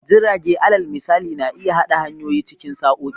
Jirage, alal misali, na iya haɗa nahiyoyi cikin sa'o'i.